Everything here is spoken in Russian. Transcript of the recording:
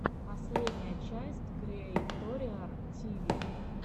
последняя часть криэйториар тиви